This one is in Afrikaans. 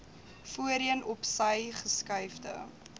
voorheen opsy geskuifde